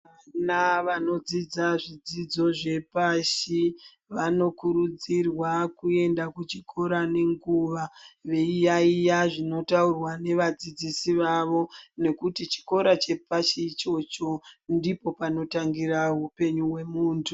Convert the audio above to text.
Vana vanodzidza zvidzidzo zvepashi vanokurudzirwa kuenda kuchikora nenguwa veiyaiya zvinenge zveitaurwa nevadzidzisi vavo. Nekuti chikora chepashi ichocho ndipo panotangira upenyu hwemuntu.